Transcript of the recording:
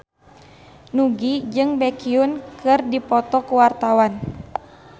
Nugie jeung Baekhyun keur dipoto ku wartawan